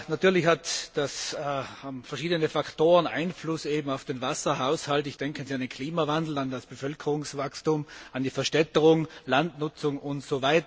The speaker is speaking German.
Natürlich haben verschiedene Faktoren Einfluss auf den Wasserhaushalt, ich denke da an den Klimawandel, an das Bevölkerungswachstum, an die Verstädterung, Landnutzung usw.